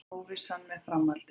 Óvissa er með framhaldið